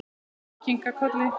Mamma kinkaði kolli.